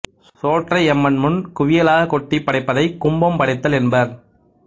சோற்றை அம்மன் முன் குவியலாகக் கொட்டி படைப்பதை கும்பம் படைத்தல் என்பர்